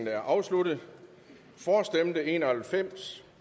er afsluttet for stemte en og halvfems